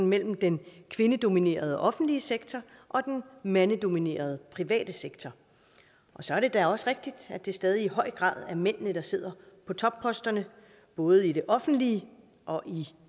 mellem den kvindedominerede offentlige sektor og den mandedominerede private sektor så er det da også rigtigt at det stadig i høj grad er mændene der sidder på topposterne både i det offentlige og i